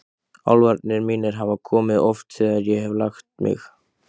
Álfarnir mínir hafa oft komið þegar ég hef lagt mig.